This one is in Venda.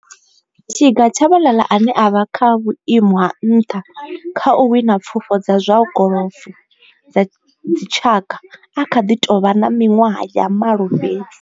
Tiga Tshabalala ane a vha kha vhuimo ha nṱha kha u wina pfufho dza zwa golofo dza dzitshaka a kha ḓi tou vha na miṅwaha ya malo fhedzi.